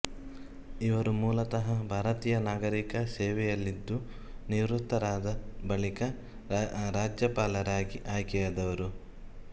ಇವರು ಮೂಲತಃ ಭಾರತೀಯ ನಾಗರಿಕ ಸೇವೆಯಲ್ಲಿದ್ದುನಿವೃತ್ತರಾದ ಬಳಿಕ ರಾಜ್ಯಪಾಲರಾಗಿ ಆಯ್ಕೆಯಾದವರು